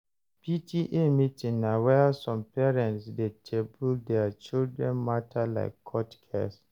PTA meeting na where some parents dey table their children matter like court case.